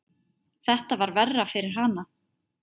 Þetta var verra fyrir hana.